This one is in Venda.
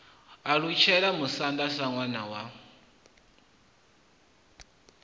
alutshela musanda sa ṋwana wa